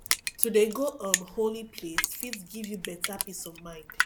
to dey go um holy place fit give you beta peace of mind